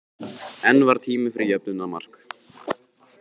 En var tími fyrir jöfnunarmark?